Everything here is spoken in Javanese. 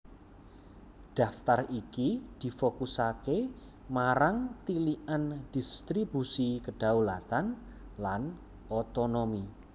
Daftar iki difokusaké marang tilikan dhistribusi kedhaulatan lan otonomi